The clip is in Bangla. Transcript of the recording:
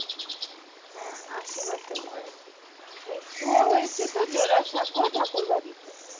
হ্যাঁ আশি বছর বয়সে মৃত্যুও হয়েছে জোড়াসাঁকো ঠাকুর বাড়িতে